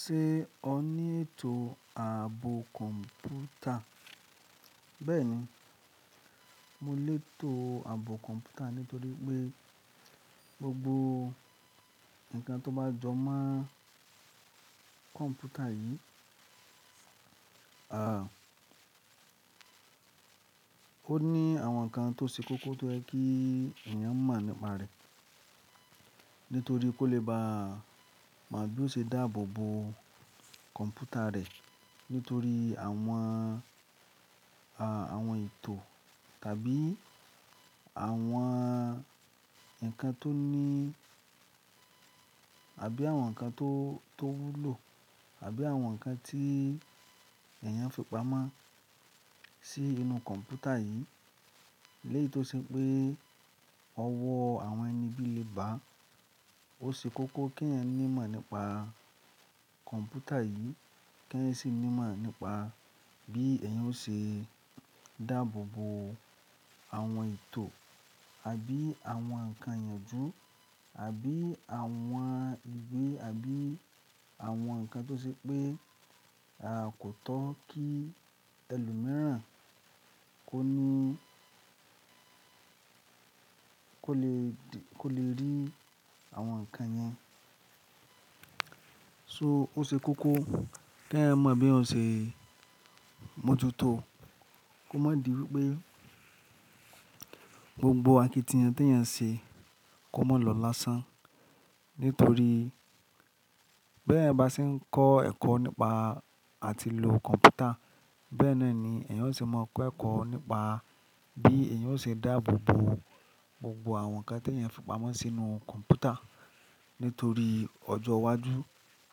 Ṣé o ní ètò ààbò kọ̀ḿpútà? Bẹ́ẹ̀ni, mo ní ètò ààbò kọ̀ḿpútà nítorí pé gbogbo ǹkan tó bá jọ mọ́ kọ̀ḿpútà yìí, aà, ó ní àwọn ǹkan tó ṣe kókó tó jẹ́ kí èèyàn mọ̀ nípa rẹ̀. Nítorí kó lè ba no bí ó ṣe dáàbò bo kọ̀ḿpútà rẹ nítorí àwọn, ààwọn ètò tàbí àwọn ǹkan tó ní àbí àwọn ǹkan tó, tó wúlò àbí àwọn ǹkan tí èèyàn fipamọ́ sí inú kọ̀ḿpútà yìí. Léyìí tó ṣe pé ọwọ́ àwọn ẹni'bí lè ba, ó ṣe kókó kí èèyàn ní mọ̀ nípa kọ̀ḿpútà yìí, kí èèyàn sì ní mọ̀ nípa bí èèyàn ṣe dáàbò bo àwọn ètò àbí àwọn ǹkan ìyànjú àbí àwọn ǹkan tó ṣe pé, aà, kò tọ́ kí ẹlòmíràn kó ní, kó lè rí àwọn ǹkan yẹn. So ó ṣe kókó kí èèyàn mọ̀ bí òun ṣe mojútò. Kó má di wí pé gbogbo àkitiyan tí èèyàn ṣe kó má lọ lásán. Nítorí bí ẹ̀eyan bá ṣe ń kọ́ ẹ̀kọ́ nípa àti lò kọ̀ḿpútà, bẹ́ẹ̀ náà ni èèyàn ó ṣe máa kọ́ ẹ̀kọ́ nípa bí èèyàn ó ṣe dáàbò bo gbogbo àwọn ǹkan tí èèyàn fipamọ́ sínú kọ̀ḿpútà. Nítorí ọjọ́ iwájú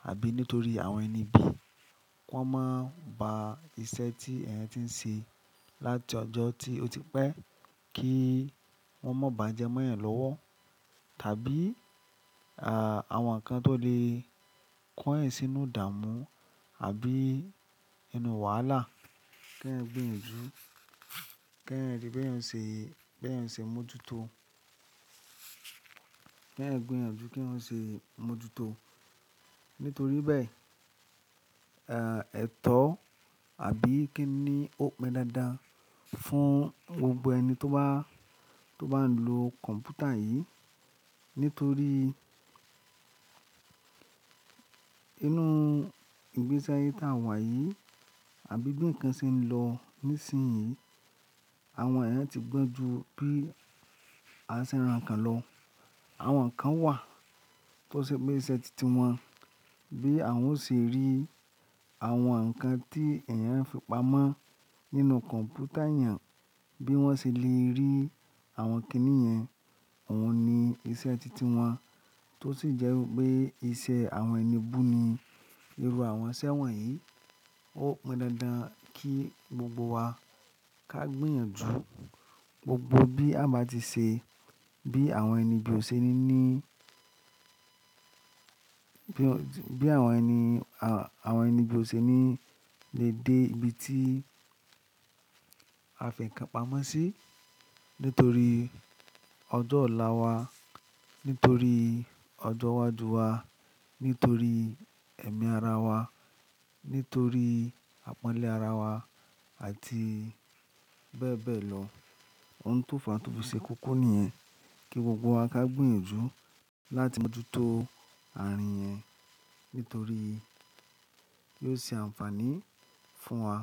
àbí nítorí àwọn ẹni bí, kó máa ba iṣẹ́ tí èèyàn tí ń ṣe láti ọjọ́ tí ó ti pẹ́ kí wọ́n má bà jẹ mọ́ èèyàn lọ́wọ́. Tàbí, àà, àwọn ǹkan tó lè kó'yan sínú ìdàmú àbí inú wàhálà kí èèyàn gbìyànjú, kí èèyàn rí bí èèyàn ń ṣe, bí èèyàn ń ṣe mojútò. Kí èèyàn gbìyànjú kí òun ṣe mojútò. Nítorí bẹ́ẹ̀, ètò àbí kín ni ó pon dándán fún gbogbo ẹni tó bá ń lo kọ̀ḿpútà yìí. Nítorí inú ìgbési aye tá wà yìí àbí bi nkan ṣe ń lọ nísinsìnyí, àwọn èèyàn ti gbọ́njú bí a ṣe rán'kan lọ. Àwọn ǹkan wà tó ṣe pé iṣẹ́ titi wọn bí àwọn ó ṣe rí àwọn ǹkan tí èèyàn fipamọ́ nínú kọ̀ḿpútà èèyàn, bí wọ́n ṣe lè rí àwọn kí ni yẹn, òun ni iṣẹ́ titi wọn. Tó sì jẹ́ wí pé iṣẹ́ àwọn ẹni bú ni irú àwọn iṣẹ́ wọ̀nyí. Ó pon dándán kí gbogbo wa ká gbìyànjú gbogbo bí a bá ti ṣe, bí àwọn ẹnibí ò ṣe ní ní, bí àwọn ẹni, àwọn ẹni'bí ò ṣe ní lè dé ibi tí a fi ǹkan pamọ́ sí nítorí ọjọ́ ọ̀la wa, nítorí ọjọ́ iwájú wa, nítorí ẹ̀mí ara wa, nítorí àpọ́nlé ara wa àti bẹ́ẹ̀ bẹ́ẹ̀ lọ. Ohun tó fàá tó fi ṣe kókó nìyẹn kí gbogbo wa ká gbìyànjú láti mojútò àárín yẹn nítorí kí ó ṣe àǹfààní fún wa.